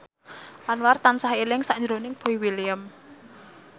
Anwar tansah eling sakjroning Boy William